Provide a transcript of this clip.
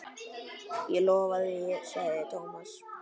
Ég lofa því sagði Thomas.